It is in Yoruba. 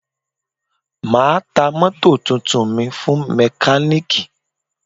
Ma ta mótò tuntun mi fún mekaniki